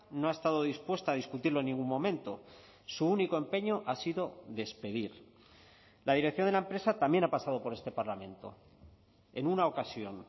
no ha estado dispuesta a discutirlo en ningún momento su único empeño ha sido despedir la dirección de la empresa también ha pasado por este parlamento en una ocasión